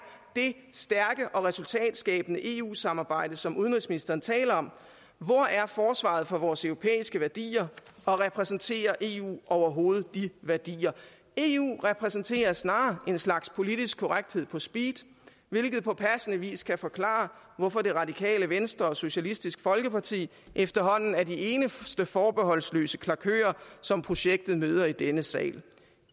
det stærke og resultatskabende eu samarbejde som udenrigsministeren taler om hvor er forsvaret for vores europæiske værdier og repræsenterer eu overhovedet de værdier eu repræsenter snarere en slags politisk korrekthed på speed hvilket på passende vis kan forklare hvorfor det radikale venstre og socialistisk folkeparti efterhånden er de eneste forbeholdsløse klakører som projektet møder i denne sal